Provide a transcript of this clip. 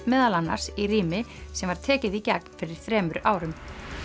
meðal annars í rými sem var tekið í gegn fyrir þremur árum